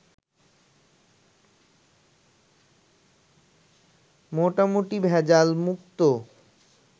মোটামুটি ভেজালমুক্ত